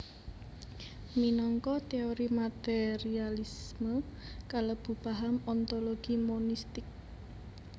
Minangka teori materialisme kalebu paham ontologi monistik